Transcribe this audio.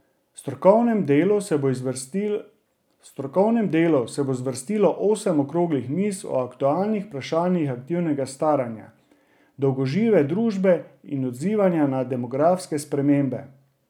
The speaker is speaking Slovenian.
V strokovnem delu se bo zvrstilo osem okroglih miz o aktualnih vprašanjih aktivnega staranja, dolgožive družbe in odzivanja na demografske spremembe.